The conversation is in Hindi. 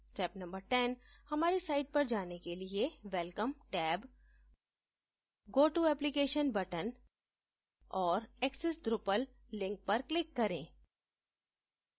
step no 10: हमारी साइट पर जाने के लिए welcome tab go to application button और access drupal लिंक पर क्लिक करें